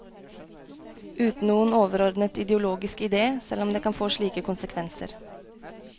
Uten noen overordnet ideologisk idé, selv om det kan få slike konsekvenser.